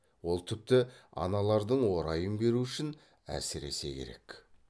ол тіпті аналардың орайын беру үшін әсіресе керек